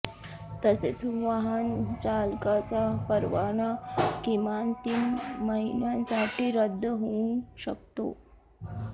तसेच वाहनचालकाचा परवाना किमान तीन महिन्यांसाठी रद्द होऊ शकतो